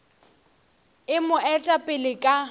e mo eta pele ka